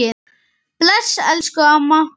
Bless elsku amma.